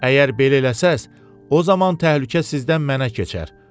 Əgər belə eləsəz, o zaman təhlükə sizdən mənə keçər.